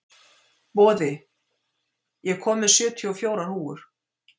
Boði, ég kom með sjötíu og fjórar húfur!